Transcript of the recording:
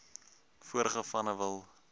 vorige vanne wil